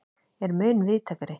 er mun víðtækari.